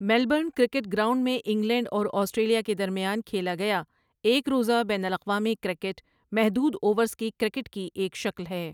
Melbourne cricket ground میں England اور Australia کے درمیان کھیلا گیا ایک روزہ بین الاقوامی کرکٹ محدود اوورز کی کرکٹ کی ایک شکل ہے۔